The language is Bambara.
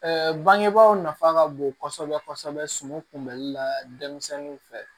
bangebaaw nafa ka bon kosɛbɛ kosɛbɛ suman kunbɛli la denmisɛnninw fɛ